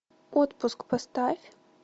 отпуск поставь